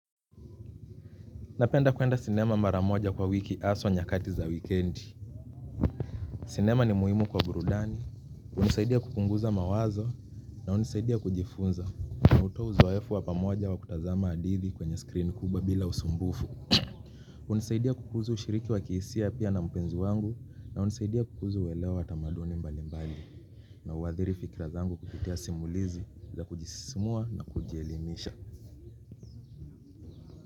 Napenda kuenda sinema mara moja kwa wiki haswa nyakati za wikendi. Sinema ni muhimu kwa burudani. Hunisaidia kupunguza mawazo na hunisaidia kujifunza. Na hutoa uzoefu wa pamoja wa kutazama hadithi kwenye screen kubwa bila usumbufu. Hunisaidia kukuza ushiriki wa kihisia pia na mpenzi wangu na hunisaidia kukuza uelewa wa tamaduni mbali mbali. Na huadhiri fkra zangu kupitia simulizi za kujisisimua na kujielimisha.